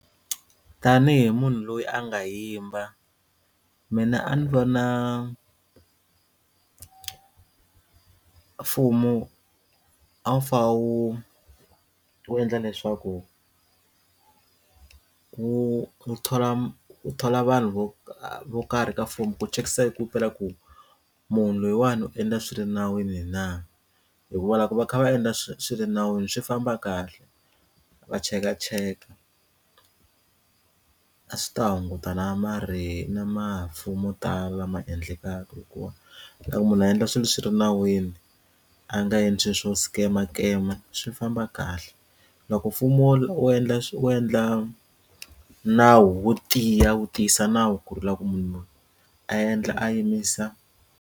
Tanihi munhu loyi a nga yimba mina a ni vona mfumo a wu fane wu wu endla leswaku ku thola ku thola vanhu vo vo karhi ka fomo ku chekisisa i ku himpela ku munhu loyiwani u endla swilo nawini na hikuva loko va kha va endla swilo nawini swi famba kahle va cheka cheka a swi ta hunguta na ma ri na mafu mo tala ma endlekaka hikuva loko munhu a endla swilo swi ri nawini a nga endliwe swo scammer scammer swi famba kahle loko mfumo wo endla u endla nawu wo tiya wu tiyisa nawu ku ri u lava ku munhu loyi a endla a yimisa.